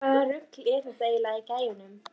Hvaða rugl er þetta eiginlega í gæjanum?